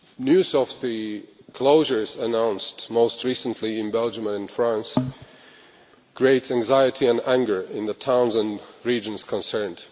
News of the closures announced, most recently in Belgium and France, created anxiety and anger in the towns and regions concerned.